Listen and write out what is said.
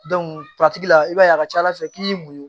la i b'a ye a ka ca ala fɛ k'i y'i muɲu